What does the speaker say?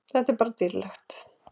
Þetta er bara dýrlegt.